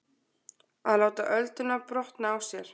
Að láta ölduna brotna á sér